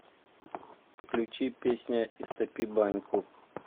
включи песня истопи баньку